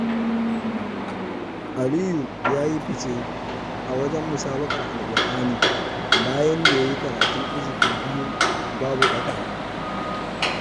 Aliyu ya yi fice a wajen musabaƙar Alkur'ani, bayan da ya yi karatun hizifi biyu babu ɓata.